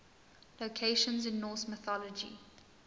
locations in norse mythology